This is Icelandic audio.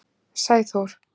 Sæþór